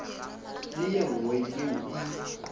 le ye nngwe yeo e